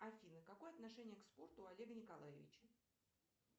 афина какое отношение к спорту у олега николаевича